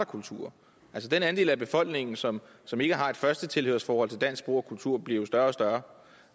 kultur den andel af befolkningen som som ikke har et førstetilhørsforhold til dansk sprog og kultur bliver jo større og større